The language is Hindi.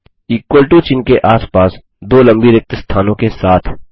इक्वल टो चिह्न के आस पास दो लम्बी रिक्त स्थानों के साथ